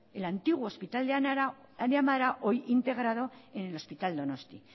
el antiguo hospital de amara hoy integrado en el hospital donosti